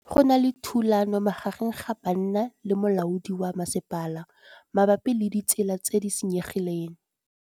Go na le thulanô magareng ga banna le molaodi wa masepala mabapi le ditsela tse di senyegileng.